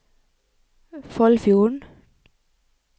Foldfjorden